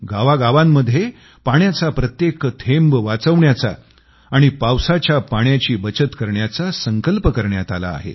गावांगावांमध्ये पाण्याचा प्रत्येक थेंब वाचवण्याचा आणि पावसाच्या पाण्याची बचत करण्याचा संकल्प करण्यात आला आहे